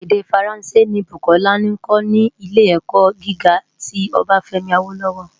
Èdè Fáránsé ni Bukola nkò ni Ilé-èkò gigá ti Obafemi Awolowo.